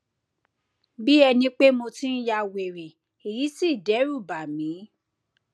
bí ẹní pé mo ti ń ya wèrè èyí sì dẹrù bá mí